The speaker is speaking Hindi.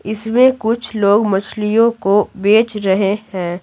इसमें कुछ लोग मछलियों को बेच रहे हैं।